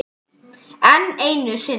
Enn einu sinni.